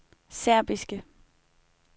serbiske